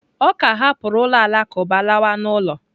Ọ ka hapụrụ ụlọ alakụba lawa n'ụlọ.